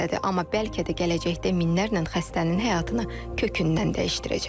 Amma bəlkə də gələcəkdə minlərlə xəstənin həyatını kökündən dəyişdirəcək.